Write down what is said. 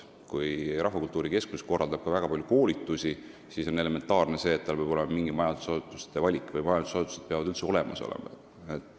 Kui Rahvakultuuri Keskus korraldab väga palju koolitusi, siis on elementaarne see, et tal peab olema mingi majutusasutuste valik või et majutusasutused peavad üldse olemas olema.